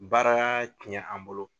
Baara tiɲɛ an bolo